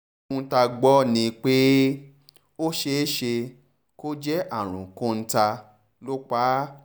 ohun tá a gbọ́ ni pé ó ṣeé ṣe kó jẹ́ àrùn kọ́ńtà ló pa á